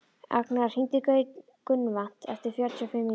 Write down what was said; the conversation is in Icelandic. Agnea, hringdu í Gunnvant eftir fjörutíu og fimm mínútur.